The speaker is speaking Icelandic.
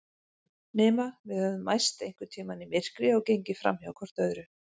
Nema við höfum mæst einhvern tíma í myrkri og gengið framhjá hvort öðru.